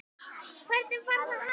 Hvernig var það hægt?